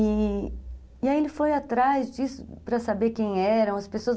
E, e aí ele foi atrás disso para saber quem eram as pessoas.